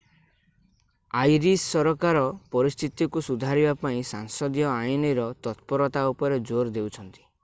Irish ସରକାର ପରିସ୍ଥିତିକୁ ସୁଧାରିବା ପାଇଁ ସାଂସଦୀୟ ଆଇନର ତତ୍ପରତା ଉପରେ ଜୋର ଦେଉଛନ୍ତି